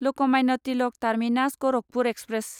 Lokmanya Tilak terminus Gorakhpur express